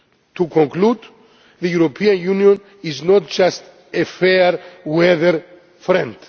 To conclude, the European Union is not just a fair weather friend.